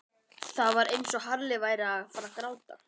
Það var eins og Halli væri að fara að gráta.